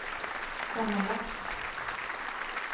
sammanlagt